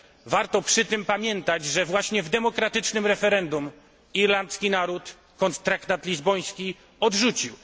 Warto przy tym pamiętać, że właśnie w demokratycznym referendum irlandzki naród traktat lizboński odrzucił.